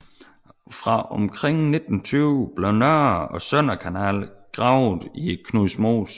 Fra omkring 1920 blev Nordre og Søndre Kanal gravet i Knudmosen